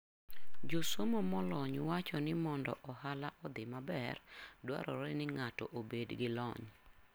Josomo molony wacho ni mondo ohala odhi maber, dwarore ni ng'ato obed gi lony.